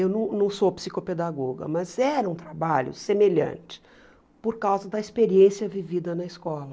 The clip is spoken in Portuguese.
Eu não não sou psicopedagoga, mas era um trabalho semelhante, por causa da experiência vivida na escola.